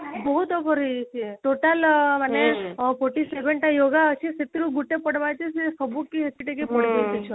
ବହୁତ over ହେଇ ଯାଇଛି total ଆଁ ମାନେ forty seven ଟା ୟୋଗା ଅଛି ସେଇଥିରୁ ଗୁଟେ ପଢବା କି ସେ ସବୁ ପଢିବେ କି ସେ ଛୁଆମାନେ